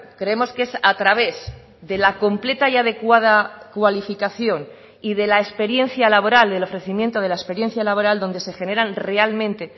creemos que es a través de la completa y adecuada cualificación y de la experiencia laboral del ofrecimiento de la experiencia laboral donde se generan realmente